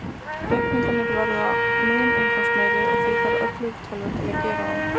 Reikningarnir verða mun umfangsmeiri, og því þarf öflugri tölvur til að gera þá.